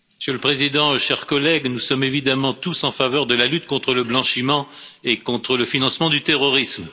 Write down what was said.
Monsieur le président, chers collègues, nous sommes évidemment tous en faveur de la lutte contre le blanchiment et contre le financement du terrorisme.